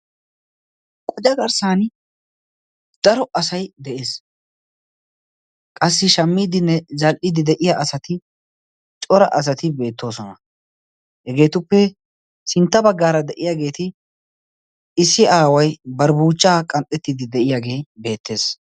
Qocca garssan daro asay de'ees. Qassi shammiidinne zal'iidi de'iya asati cora asati beettoosona. Hegeetuppe sintta baggaara de'iyaageeti issi aaway bari buuchchaa qanxxettiddi de'iyaagee beettees.